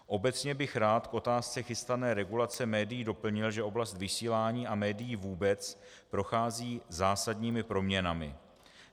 Obecně bych rád k otázce chystané regulace médií doplnil, že oblast vysílání a médií vůbec prochází zásadními proměnami.